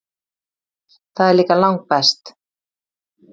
Það er líka langbest.